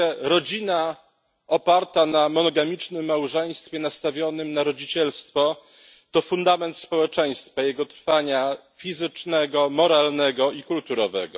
Rodzina oparta na monogamicznym małżeństwie nastawionym na rodzicielstwo to fundament społeczeństwa, jego trwania fizycznego, moralnego i kulturowego.